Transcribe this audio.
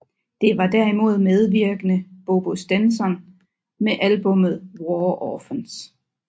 Det var derimod medvirkende Bobo Stenson med albumet War orphans